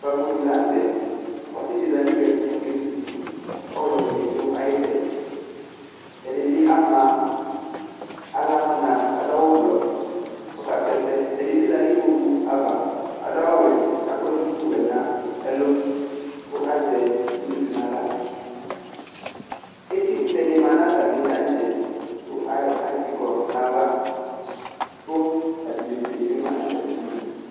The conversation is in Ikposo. Ukpafo dɩ la nʋ tɛ, ɔsɩ dɩ za nʋ iyui ɛtʋ kʋ okezu fufu, kʋ ɔɣlɔ dɩnɩ dʋ ayʋ ɩtsɛdɩ, ɛdɩ bɩ ama aɣla nʋ ɔna kʋ adʋ awʋ blɔ kʋ ɔkasʋ ɛsɛ, ɛdɩ bɩ za nʋ ikpoku ava, adʋ awʋ wɛ, kʋ akɔ duku wɛ nʋ ɛlʋ, kʋ azɛ iwlitsu nʋ aɣla, etikʋtɛ dɩ ma nʋ atamɩ taŋtsɛ kʋ ayɔ kɛtsɩ kɔ nʋ ayʋ ava, kʋ abidzotsu dɩ bɩ ma nʋ atamɩ idu